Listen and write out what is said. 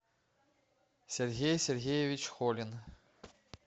сергей сергеевич холин